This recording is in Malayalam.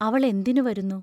അവൾ എന്തിനു വരുന്നു?